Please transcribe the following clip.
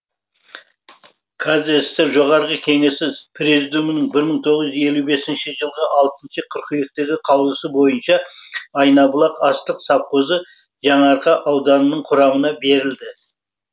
қазсср жоғарғы кеңесіз президумының бір мың тоғыз жүз елу бес жылығы алтыншы қыркүйектегі қаулысы бойынша айнабұлақ астық совхозы жаңарқа ауданының құрамына берілді